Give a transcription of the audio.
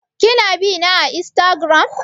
Ki na bina a Instagram?